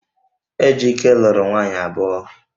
Ejike luru nwunye abuo